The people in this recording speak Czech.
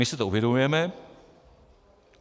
My si to uvědomujeme.